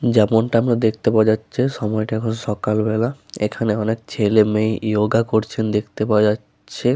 যেমনটা আমরা দেখতে পাওয়া যাচ্ছে। সময় টা এখন সকালবেলা । এখানে অনেক ছেলেমেয়ে যোগা করছেন দেখতে পাওয়া যা-আ-চ্ছে।